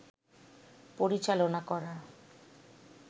পরিচালনা করা